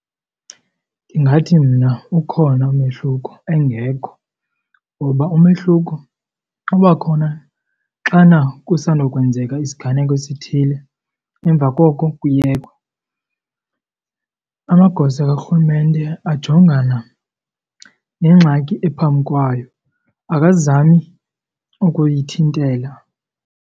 Ndingathi mna ukhona umehluko engekho, ngoba umehluko uba khona xana kusandokwenzeka isiganeko esithile emva koko kuyekwe. Amagosa karhulumente ajongana nengxaki ephambi kwayo akazami ukuyithintela.